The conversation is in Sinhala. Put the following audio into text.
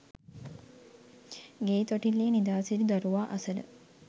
ගෙයි තොටිල්ලේ නිදා සිටි දරුවා අසල